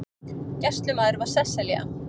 Gæslumaður var Sesselja